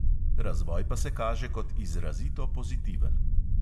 Razvoj pa se kaže kot izrazito pozitiven.